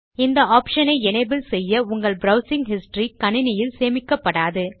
இந்த ஆப்ஷன் ஐ எனபிள் செய்ய உங்கள் ப்ரவ்சிங் ஹிஸ்டரி கணினியில் சேமிக்கப்படாது